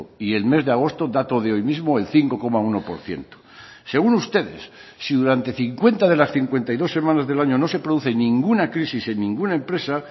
y el mes de agosto dato de hoy mismo el cinco coma uno por ciento según ustedes si durante cincuenta de las cincuenta y dos semanas del año no se produce ninguna crisis en ninguna empresa